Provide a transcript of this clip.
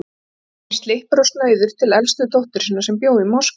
Svo kom hann slyppur og snauður til elstu dóttur sinnar, sem bjó í Moskvu.